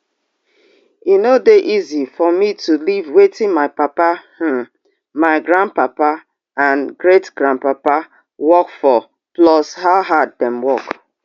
e no dey easy for me to leave wetin my papa um my grandpapa and great grandpapa work for plus how hard dem work